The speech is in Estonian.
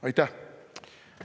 Aitäh!